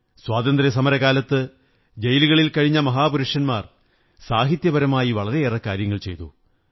സ്വാതന്ത്ര്യസമരകാലത്ത് ജയിലുകളിൽ കഴിഞ്ഞ മഹാപുരുഷന്മാർ സാഹിത്യപരമായി വളരെ കാര്യങ്ങൾ ചെയ്തു